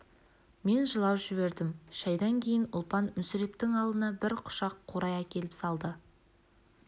мен жылап жібердім шайдан кейін ұлпан мүсірептің алдына бір құшақ қурай әкеліп салды